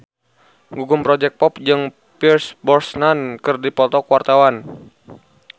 Gugum Project Pop jeung Pierce Brosnan keur dipoto ku wartawan